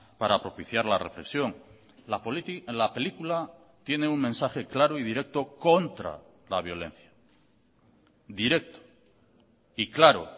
para propiciar la reflexión la película tiene un mensaje claro y directo contra la violencia directo y claro